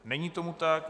Není tomu tak.